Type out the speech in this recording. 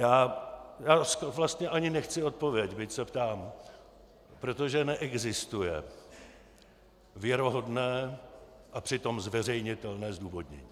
Já vlastně ani nechci odpověď, byť se ptám, protože neexistuje věrohodné a přitom zveřejnitelné zdůvodnění.